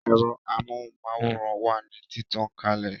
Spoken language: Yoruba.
Ero amóhùn máwòrán wà ní títàn kalẹ̀